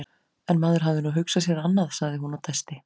En maður hafði nú hugsað sér annað, sagði hún og dæsti.